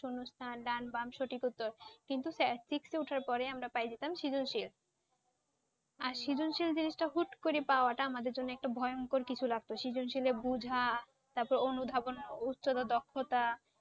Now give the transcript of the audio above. শূন্যস্থান ডান বাম সঠিক উত্তর কিন্তু Class Six এ উঠার পরে আমরা পাইযেতাম সৃজনশীল আজ সৃজনশীল জিনিসটা হুট্ করে পাওয়াটা আমাদের জন্য একটা ভয়ংকর কিছু লাগতো। সৃজনশীলে বোঝা তারপর অনুধাবন উত্তর দক্ষতা